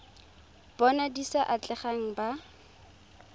bona di sa atlegang ba